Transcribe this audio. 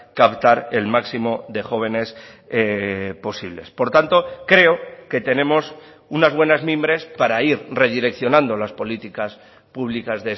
captar el máximo de jóvenes posibles por tanto creo que tenemos unas buenas mimbres para ir redireccionando las políticas públicas